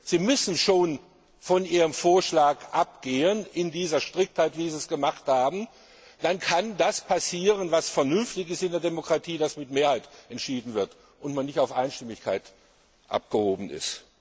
Sie müssen schon von Ihrem Vorschlag abgehen in dieser Striktheit, wie Sie es gemacht haben, dann kann das passieren, was vernünftig ist in der Demokratie, dass mit Mehrheit entschieden wird und man nicht auf Einstimmigkeit angewiesen ist.